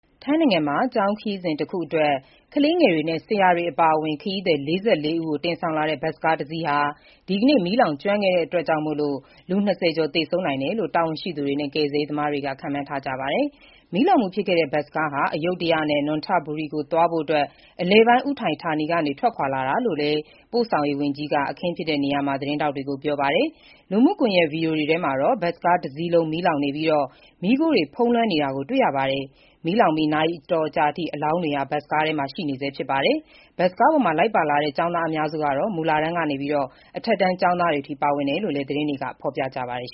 ထိုင်းနိုင်ငံမှာ ကျောင်းခရီးစဉ်တခုအတွင်း ကလေးတွေနဲ့ ဆရာတွေ အပါအဝင် ခရီးသည် ၄၄ ဦးနဲ့ လိုက်ပါလာတဲ့ ဘတ်စ်ကားတစီး ဒီကနေ့ မီးလောင်ကျွမ်းမှုကြောင့် ၂၀ ကျော် သေဆုံးနိုင်တယ်လို့ တာဝန်ရှိသူတွေနဲ့ ကယ်ဆယ်ရေး သမားတွေက ခန့်မှန်းကြပါတယ်။ မီးလောင်မှုဖြစ်ခဲ့တဲ့ ဘတ်စ်ကားဟာ အယုဒ္ဓယနဲ့ နွန်ထဘူရီ ကိုသွားဖို့ အလယ်ပိုင်း ဥထိုင်းဌာနီက ထွက်ခွာလာတာလို့လည်း ပို့ဆောင်ရေးဝန်ကြီး Suriya Jungrungruengkit က အခင်းဖြစ်တဲ့နေရာမှာ သတင်းထောက်တွေကို ပြောပါတယ်။ လူမှုကွန်ရက်က ဗွီဒီယိုတွေထဲမှာတော့ ဘတ်စ်ကားတစီးလုံး မီးလောင်နေပြီး မီးခိုးတွေဖုံးလွှမ်းနေတာကို တွေ့ရပါတယ်။ မီးလောင်ပြီး နာရီအတော်ကြာအထိ အလောင်းတွေ ဘတ်စ်ကားထဲမှာ ရှိနေဆဲဖြစ်ပါတယ်။ ဘတ်စ်ကားပေါ်မှာ လိုက်ပါလာတဲ့ ကျောင်းသားအများစုဟာ မူလတန်းကနေ အထက်တန်း ကျောင်းသားတွေအထိ ပါဝင်တယ်လို့လည်း သတင်းတွေက ဖော်ပြကြပါတယ်